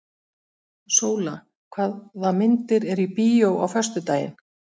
Sóla, hvaða myndir eru í bíó á föstudaginn?